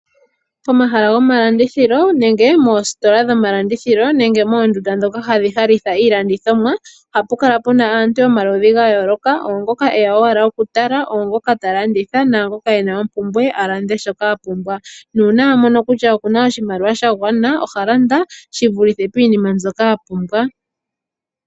Omahala gomalandithilo nenge moositola dhomalandithilo nenge moondunda ndhoka hadhi halitha iilandithomwa, ohapu kala pu na aantu yomaludhi ga yooloka. Oongoka e ya owala okutala, oongoka ta landitha naangoka e na ompumbwe, a lande shoka a pumbwa. Uuna a mono kutya oku na oshimaliwa sha gwana, oha landa shi vulithe piinima mbyoka a pumbwa.